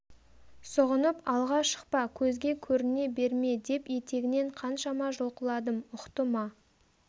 сұғынып алға шықпа көзге көріне берме деп етегінен қаншама жұлқыладым ұқты ма